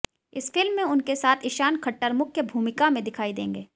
इस फिल्म में उनके साथ ईशान खट्टर मुख्य भूमिका में दिखाई देंगे